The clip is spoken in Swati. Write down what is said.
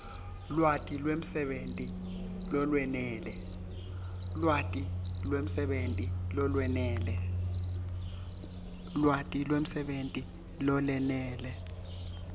lwati lwemsebenti lolwenele